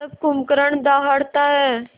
जब कुंभकर्ण दहाड़ता है